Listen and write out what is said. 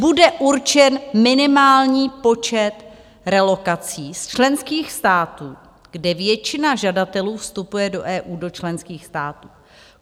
Bude určen minimální počet relokací z členských států, kde většina žadatelů vstupuje do EU, do členských států.